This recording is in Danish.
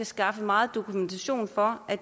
skaffe meget dokumentation for at